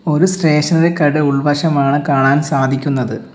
ഒരു സ്റ്റേഷനറി കട ഉൾവശമാണ് കാണാൻ സാധിക്കുന്നത്.